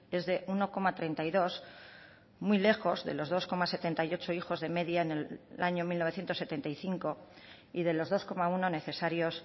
es de uno coma treinta y dos muy lejos de los dos coma setenta y ocho hijos de media en el año mil novecientos setenta y cinco y de los dos coma uno necesarios